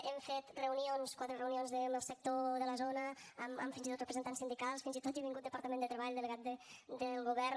hem fet reunions quatre reunions amb el sector de la zona amb fins i tot representants sindicals fins i tot hi ha vingut el departament de treball delegat del govern